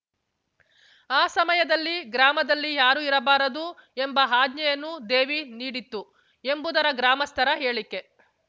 ಆ ಸಮಯದಲ್ಲಿ ಗ್ರಾಮದಲ್ಲಿ ಯಾರೂ ಇರಬಾರದು ಎಂಬ ಆಜ್ಞೆಯನ್ನು ದೇವಿ ನೀಡಿತ್ತು ಎಂಬುದರ ಗ್ರಾಮಸ್ಥರ ಹೇಳಿಕೆ